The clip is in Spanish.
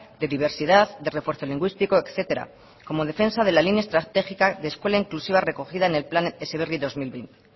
de diversidad de refuerzo lingüístico etcétera como defensa de la línea estratégica de escuela inclusiva recogida en el plan heziberri dos mil veinte